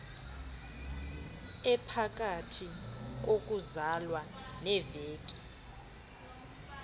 ephakathi kokuzalwa neeveki